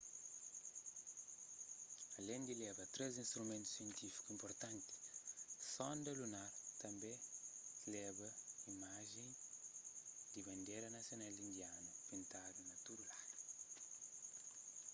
alén di leba três instrumentu sientífiku inpurtanti sonda lunar tanbê tleba imajen di bandera nasional indianu pintadu na tudu ladu